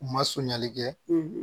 U ma sonyali kɛ